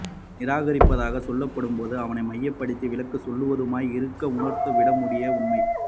நிராகரிப்பதாக சொல்லப் படும் போதும் அவனை மையப் படுத்தி விலகிச் செல்வதுமாய் இருக்க உணர்ந்து விட முடியா உண்மை